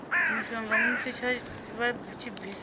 mushonga musi vha tshi bva